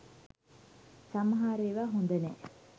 සමහර එවා හොඳනෑ